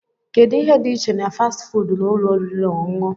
Kedu ihe dị iche na fasti fuudu na ụlọ oriri na ọṅụṅụ?